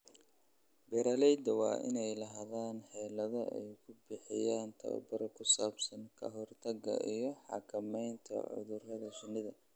Beeralayda waa inay lahaadaan xeelado ay ku bixiyaan tababar ku saabsan ka hortagga iyo xakamaynta cudurrada shinida.